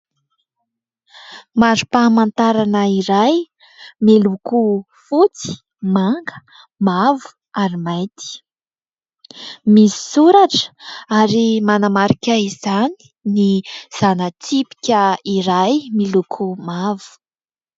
Mari-pamantarana iray miloko fotsy, manga, mavo ary mainty. Misy soratra ary manamarika izany ny zana-tsipika iray miloko mavo.